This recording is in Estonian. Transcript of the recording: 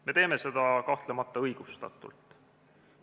Me teeme seda kahtlemata õigustatult.